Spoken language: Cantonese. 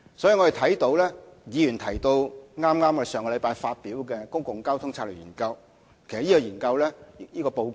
議員剛才提及我們剛於上星期發表的《公共交通策略研究報告》。